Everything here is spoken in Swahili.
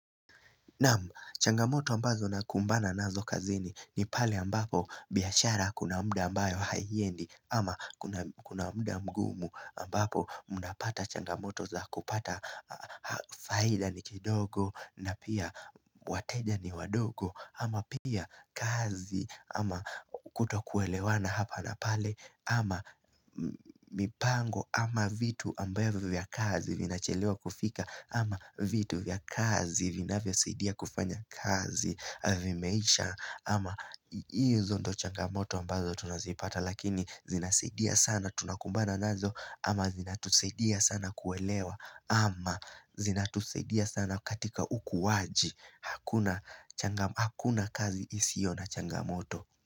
Naam, changamoto ambazo nakumbana nazo kazini ni pale ambapo biashara kuna mda ambayo haiendi ama kuna kuna mda mgumu ambapo mnapata changamoto za kupata faida ni kidogo na pia wateja ni wadogo ama pia kazi ama kuto kuelewana hapa na pale ama mipango ama vitu ambayo vya kazi vina chelewa kufika ama vitu vya kazi vinavyo saidia kufanya kazi vimeisha ama hizo ndo changamoto ambazo tunazipata Lakini zinasaidia sana tunakumbana nazo ama zinatusaidia sana kuelewa ama zina tusaidia sana katika ukuwaji hakuna Hakuna kazi isio na changamoto.